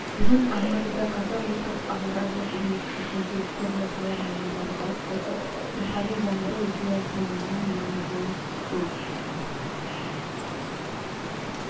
бүгін алматыдағы қазақ ұлттық аграрлық университетінде түрлі сала мамандары бас қосып рухани жаңғыру идеясының мән-маңызын сөз